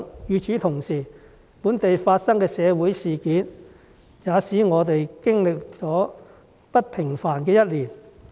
與此同時，本地發生的社會事件，也使我們經歷了不平凡的一年。